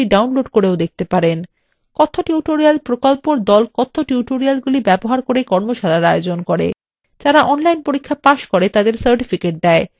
কথ্য tutorial প্রকল্পর the কথ্য টিউটোরিয়ালগুলি ব্যবহার করে কর্মশালার আয়োজন করে যারা online পরীক্ষা pass করে তাদের certificates দেয়